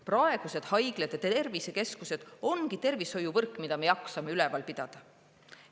Praegused haiglate tervisekeskused ongi tervishoiuvõrk, mida me jaksame üleval pidada.